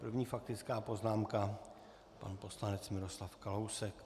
První faktická poznámka pan poslanec Miroslav Kalousek.